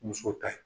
Musow ta ye